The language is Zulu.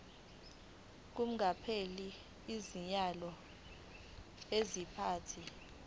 kungakapheli izinyanga eziyisithupha